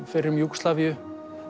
fyrrum Júgóslavíu